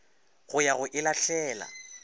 go ya go e lahlela